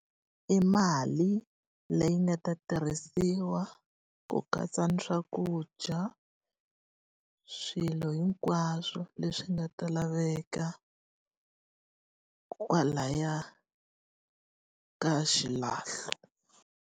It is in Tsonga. I mali leyi nga ta tirhisiwa ku katsa na swakudya, swilo hinkwaswo leswi nga ta laveka kwalaya ka xilahlo.